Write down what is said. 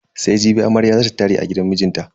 Sai jibi amarya za ta tare a gidan mijinta.